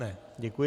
Ne, děkuji.